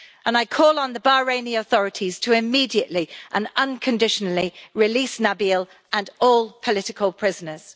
I call on the Bahraini authorities to immediately and unconditionally release Nabeel and all political prisoners.